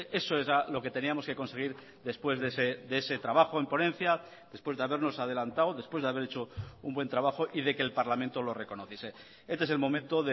eso era lo que teníamos que conseguir después de ese trabajo en ponencia después de habernos adelantado después de haber hecho un buen trabajo y de que el parlamento lo reconociese este es el momento